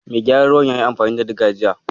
Mai gyaran ruwan yayi amfani da Diga jiya.